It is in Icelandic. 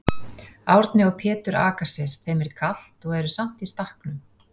Árni og Pétur aka sér, þeim er kalt og eru samt í stakknum.